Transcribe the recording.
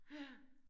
Ja